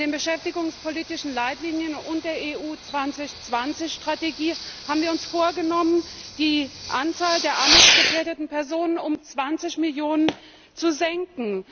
In den Beschäftigungspolitischen Leitlinien und der Strategie Europa 2020 haben wir uns vorgenommen, die Anzahl der armutsgefährdeten Personen um 20 Millionen zu senken.